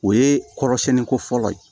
O ye kɔrɔsɛnni ko fɔlɔ ye